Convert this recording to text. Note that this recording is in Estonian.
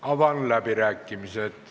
Avan läbirääkimised.